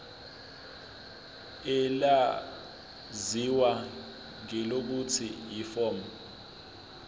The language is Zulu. elaziwa ngelokuthi yiform